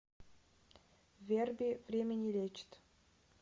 верби время не лечит